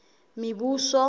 mebuso